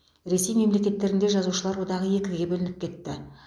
ресей мемлекеттерінде жазушылар одағы екіге бөлініп кетті